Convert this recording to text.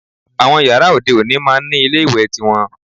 Àwọn yàrá òde òní máá ń ní ilé ìwẹ̀ tiwọn